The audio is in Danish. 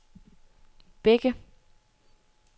Bække